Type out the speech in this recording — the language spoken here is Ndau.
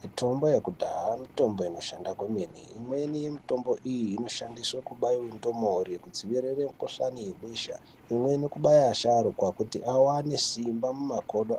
Mitombo yekudhaya mitombo inoshanda kwemene imweni yemitombo iyi inoshandiswa kubaira ndumure kuti dzipere mukuhlani webesha imweni inoshandiswa kuvasharukwa kuti vaone simba